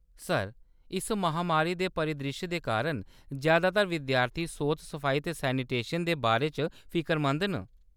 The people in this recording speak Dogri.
सर, इस महामारी दे परिद्रिश्श दे कारण, जैदातर विद्यार्थी सोत-सफाई ते सैनिटाइज़ेशन दे बारे च फिकरमंद न।